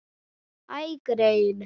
Æ, greyin.